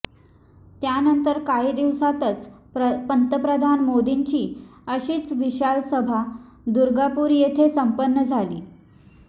त्यानंतर काही दिवसांतच पंतप्रधान मोदींची अशीच विशाल सभा दुर्गापूर येथे संपन्न झाली